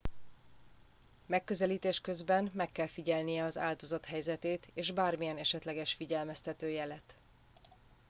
megközelítés közben meg kell figyelnie az áldozat helyzetét és bármilyen esetleges figyelmeztető jelet